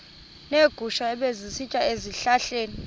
neegusha ebezisitya ezihlahleni